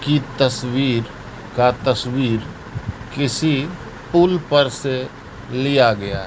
की तस्वीर का तस्वीर किसी पुल पर से लिया गया--